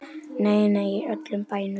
Nei, nei, í öllum bænum.